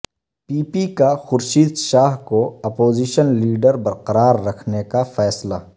پی P کا خورشید شاہ کو opposition leader برقرار رکھنے کا فیصلہ